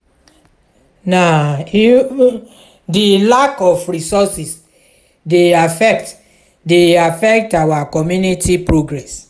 na even di lack of resources dey affect dey affect our community progress.